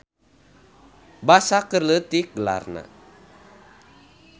Basa keur leutik gelarna.